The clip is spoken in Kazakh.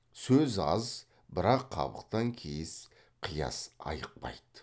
сөз аз бірақ қабақтан кейіс қияс айықпайды